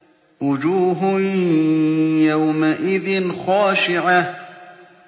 وُجُوهٌ يَوْمَئِذٍ خَاشِعَةٌ